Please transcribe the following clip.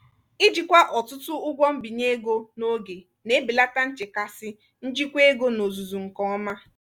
ijikwa ọtụtụ ụgwọ mbinye ego n'oge na-ebelata nchekasị njikwa ego n'ozuzu nke ọma.